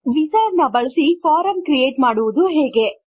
wizard ಅನ್ನು ಬಳಸಿ form create ಮಾಡುವುದು ಹೇಗೆ